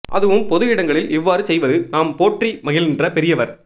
அதுவும் பொது இடங்களில் இவ்வாறு செய்வது நாம் போற்றி மகிழ்கின்ற பெரியவர்